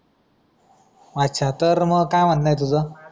अच्छा तर मग काय म्हणणं आहे तुझं.